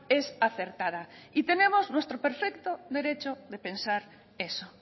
es acertada y tenemos nuestro perfecto derecho de pensar eso